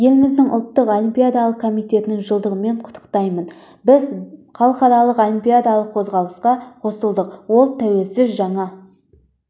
еліміздің ұлттық олимпиадалық комитетінің жылдығымен құттықтаймын біз халықаралық олимпиадалық қозғалысқа қосылдық ол тәуелсіз жаңа